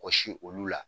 Wɔsi olu la